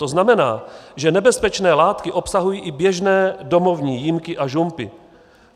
To znamená, že nebezpečné látky obsahují i běžné domovní jímky a žumpy.